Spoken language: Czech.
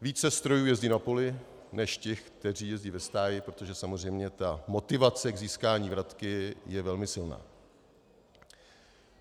více strojů jezdí na poli než těch, které jezdí ve stáji, protože samozřejmě ta motivace k získání vratky je velmi silná.